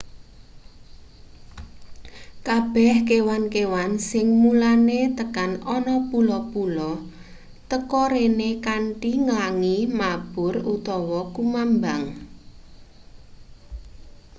kabeh kewan-kewan sing mulane tekan ana pulo--pulo teka rene kanthi nglangi mabur utawa kumambang